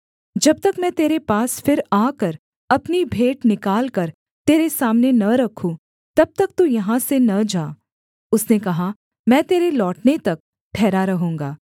जब तक मैं तेरे पास फिर आकर अपनी भेंट निकालकर तेरे सामने न रखूँ तब तक तू यहाँ से न जा उसने कहा मैं तेरे लौटने तक ठहरा रहूँगा